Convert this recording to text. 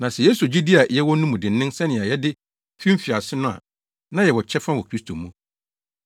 Na sɛ yeso gyidi a yɛwɔ no mu dennen sɛnea yɛde fi mfiase no a na yɛwɔ kyɛfa wɔ Kristo mu.